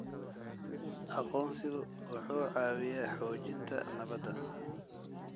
Aqoonsigu wuxuu caawiyaa xoojinta nabadda.